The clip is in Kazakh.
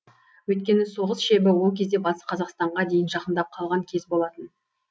өйткені соғыс шебі ол кезде батыс қазақстанға дейін жақындап қалған кез болатын